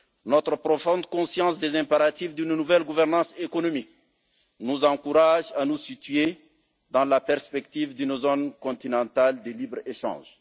Notre profonde conscience des impératifs d'une nouvelle gouvernance économique nous encourage à nous situer dans la perspective d'une zone continentale de libre échange.